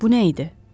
Bu nə idi?